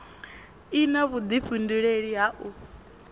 i na vhudifhinduleli ha u